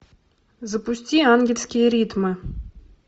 запусти ангельские ритмы